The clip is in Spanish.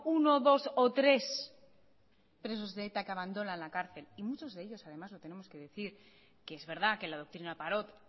uno dos o tres presos de eta que abandonan la cárcel y muchos de ellos además lo tenemos que decir que es verdad que la doctrina parot